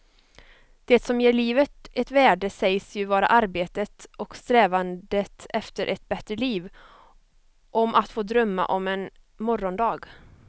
Det som ger livet ett värde sägs ju vara arbetet och strävandet efter ett bättre liv, om att få drömma om en morgondag.